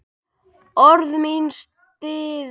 Orð mín stirð.